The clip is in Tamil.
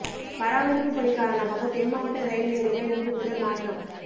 பராமரி்ப்பு பணி காரணமாக தென் மாவட்ட ரயில் நேரங்கள் இன்று முதல் மாற்றம்